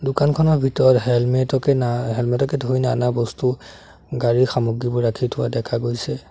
দোকানখনৰ ভিতৰত হেলমেট ও কে না হেলমেট কে ধৰি নানা বস্তু গাড়ীৰ সামগ্ৰীবোৰ ৰখি থোৱা দেখা গৈছে।